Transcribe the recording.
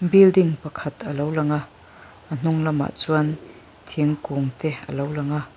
building pakhat a lo lang a a hnunglamah chuan thingkûngte a lo lang a.